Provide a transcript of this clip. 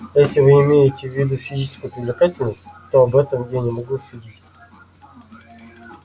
если вы имеете в виду физическую привлекательность то об этом я не могу судить